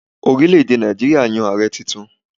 Orílè èdè Nàìjíríà yan Ààrẹ tuntun.